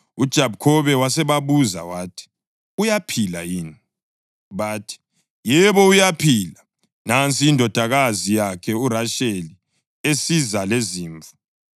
UJakhobe wasebabuza wathi, “Uyaphila yini?” Bathi, “Yebo, uyaphila; nansi indodakazi yakhe uRasheli esiza lezimvu.”